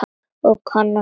Og kann sig.